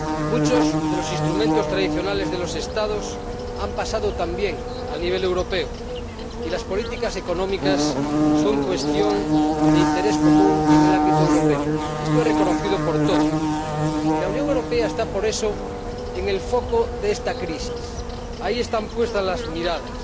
Muchos de los instrumentos tradicionales de los Estados han pasado también al nivel europeo y las políticas económicas son cuestión de interés común en el ámbito europeo —esto es reconocido por todos—, y la Unión Europea está, por eso, en el foco de esta crisis ahí están puestas las miradas.